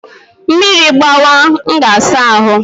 Mmiri gbawa, m ga saa ahụ